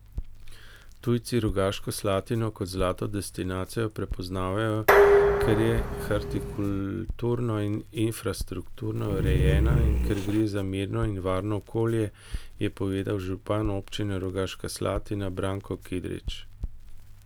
Tujci Rogaško Slatino kot zlato destinacijo prepoznavajo, ker je hortikulturno in infrastrukturno urejena in ker gre za mirno in varno okolje, je povedal župan Občine Rogaška Slatina Branko Kidrič.